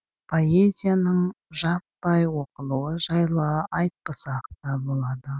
поэзияның жаппай оқылуы жайлы айтпасақ та болады